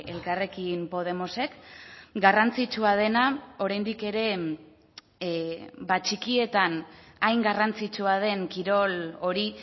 elkarrekin podemosek garrantzitsua dena oraindik ere txikietan hain garrantzitsua den kirol hori